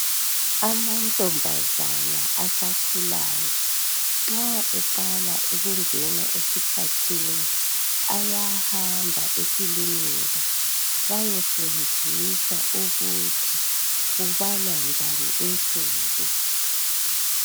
Amantombazana asakhulayo nxa eqala ukungena esikhathini ayahamba ekilinika bayefundiswa ukuthi kubalwa njani insuku.